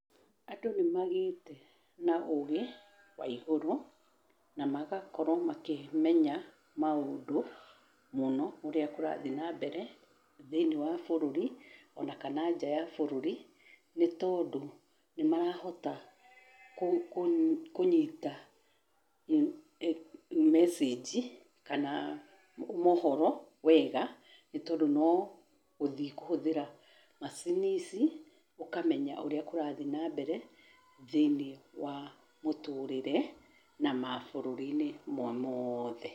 Andũ nĩmagĩte na ũgĩ wa igũrũ na magakorwo makĩmenya maũndũ mũno ũrĩa kũrathiĩ na mbere thĩinĩ wa bũrũri ona kana nja ya bũrũri nĩ tondũ nĩ marahota kũnyita message kana mohoro wega nĩ tondũ no gũthiĩ kũhũthĩra macini ici ũkamenya ũrĩa kũrathiĩ ma mbere thĩinĩ wa mũtũrĩre na mabũrũri-inĩ me mothe.